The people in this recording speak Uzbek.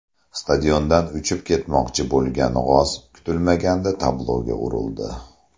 Stadiondan uchib ketmoqchi bo‘lgan g‘oz kutilmaganda tabloga urildi .